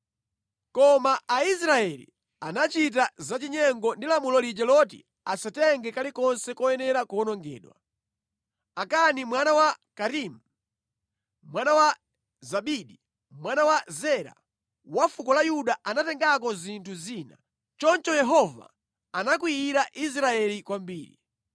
Koma Aisraeli anachita zachinyengo ndi lamulo lija loti asatenge kalikonse koyenera kuwonongedwa. Akani mwana wa Karimi, mwana wa Zabidi, mwana wa Zera, wa fuko la Yuda anatengako zinthu zina. Choncho Yehova anakwiyira Israeli kwambiri.